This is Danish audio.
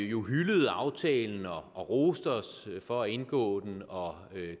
jo hyldede aftalen og roste os for at indgå den og